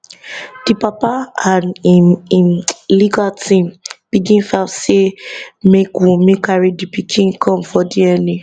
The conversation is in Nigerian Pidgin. di papa and im im legal team begin file say make wunmi carry di pikin come for dna